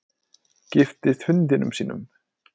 Giftist hundinum sínum